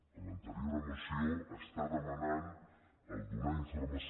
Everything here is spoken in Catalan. en l’anterior moció es demanava donar informació